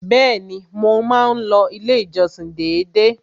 Bẹ́ẹ̀ni, mo máa ń lọ ilé ìjọsìn dédé.